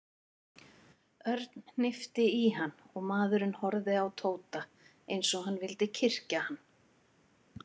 Örn hnippti í hann og maðurinn horfði á Tóta eins og hann vildi kyrkja hann.